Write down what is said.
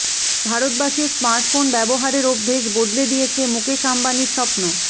ভারতবাসীর স্মার্টফোন ব্যবহারের অভ্যেস বদলে দিয়েছে মুকেশ আম্বানির স্বপ